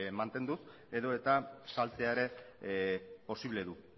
mantenduz edota saltzea ere posible du